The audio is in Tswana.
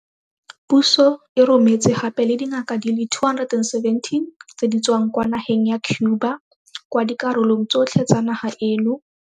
Puso e rometse gape le dingaka di le 217 tse di tswang kwa nageng ya Cuba kwa dikarolong tsotlhe tsa naga eno.